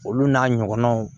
Olu n'a ɲɔgɔnnaw